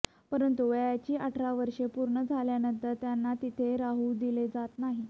परंतु वयाची अठरा वर्षे पूर्ण झाल्यानंतर त्यांना तिथे राहू दिले जात नाही